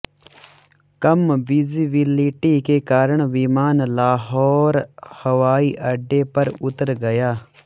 कम visibility के कारण विमान लाहौर हवाई अड्डे पर उतर गया